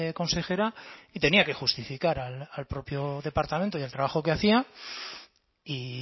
consejera y tenía que justificar al propio departamento y al trabajo que hacía y